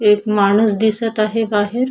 एक माणूस दिसत आहे बाहेर.